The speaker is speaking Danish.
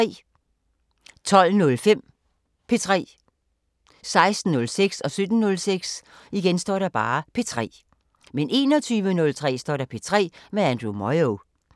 12:05: P3 16:06: P3 17:06: P3 21:03: P3 med Andrew Moyo